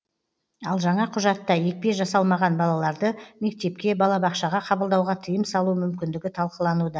ал жаңа құжатта екпе жасалмаған балаларды мектепке балабақшаға қабылдауға тыйым салу мүмкіндігі талқылануда